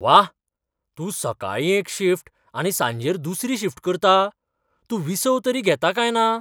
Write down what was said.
व्वा! तूं सकाळीं एक शिफ्ट आनी सांजेर दुसरी शिफ्ट करता! तूं विसव तरी घेता काय ना?